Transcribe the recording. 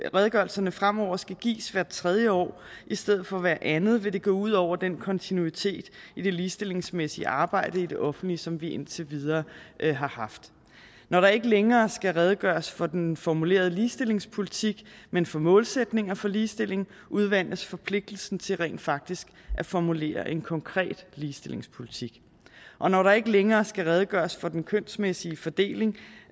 redegørelserne fremover skal gives hvert tredje år i stedet for hvert andet vil det gå ud over den kontinuitet i det ligestillingsmæssige arbejde i det offentlige som vi indtil videre har haft når der ikke længere skal redegøres for den formulerede ligestillingspolitik men for målsætninger for ligestilling udvandes forpligtelsen til rent faktisk at formulere en konkret ligestillingspolitik og når der ikke længere skal redegøres for den kønsmæssige fordeling